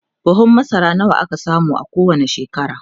buhun masara nawa kake samu a kowani shekara?